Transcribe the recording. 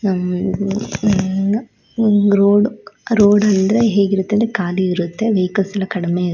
ಆಹ್ಹ್ road road ಅಂದ್ರೆ ಹೇಗಿರುತ್ತೆ ಅಂದ್ರೆ ಖಾಲಿ ಇರುತ್ತೆ. ವೆಹಿಕಲ್ಸ್ ಎಲ್ಲ ಕಡಿಮೆ--